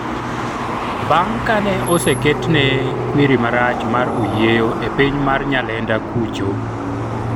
bang' kane oseketne kwiri marach mar oyieyo e piny mar Nyalenda kucho